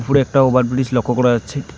উপরে একটা ওভারব্রিজ লক্ষ করা যাচ্ছে।